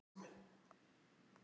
Tökum einhvern punkt í sjónum.